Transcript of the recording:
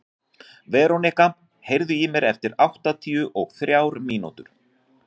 Veronika, heyrðu í mér eftir áttatíu og þrjár mínútur.